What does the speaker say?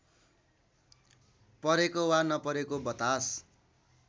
परेको वा नपरेको बतास;